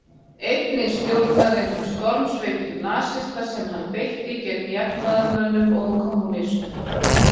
Einnig stjórnaði hann stormsveitum nasista sem hann beitti gegn jafnaðarmönnum og kommúnistum.